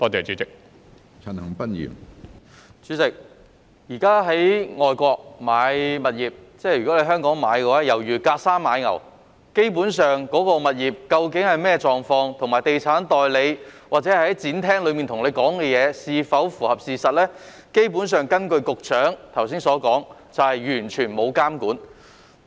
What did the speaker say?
主席，現時在香港購買外國物業猶如隔山買牛，有關物業究竟是甚麼狀況，以及地產代理在展廳中向買家提供的資訊是否符合事實，根據局長剛才所說，都是完全沒有監管的。